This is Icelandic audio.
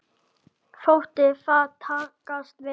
Þótti það takast vel.